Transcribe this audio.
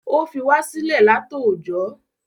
O fi wa sílẹ látòójọ